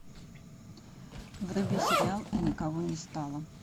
вруби сериал и никого не стало